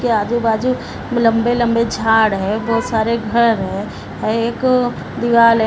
इसके आजू-बाजू लंबे-लंबे झाड़ है बहोत सारे घर हैं एक दीवाल है।